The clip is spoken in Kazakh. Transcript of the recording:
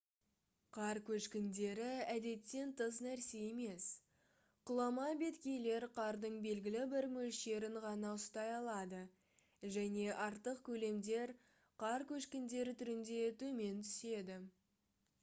қар көшкіндері әдеттен тыс нәрсе емес құлама беткейлер қардың белгілі бір мөлшерін ғана ұстай алады және артық көлемдер қар көшкіндері түрінде төмен түседі